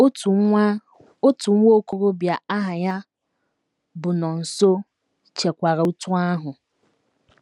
’” Otu nwa ” Otu nwa okorobịa aha ya bụ Nonso chekwara otú ahụ.